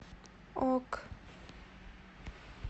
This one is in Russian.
ок